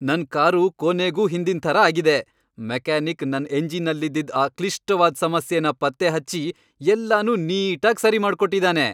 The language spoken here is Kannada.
ನನ್ ಕಾರು ಕೊನೆಗೂ ಹಿಂದಿನ್ ಥರ ಆಗಿದೆ. ಮೆಕ್ಯಾನಿಕ್ ನನ್ ಎಂಜಿನಲ್ಲಿದ್ದಿದ್ ಆ ಕ್ಲಿಷ್ಟವಾದ್ ಸಮಸ್ಯೆನ ಪತ್ತೆಹಚ್ಚಿ ಎಲ್ಲನೂ ನೀಟಾಗ್ ಸರಿ ಮಾಡ್ಕೊಟ್ಟಿದಾನೆ.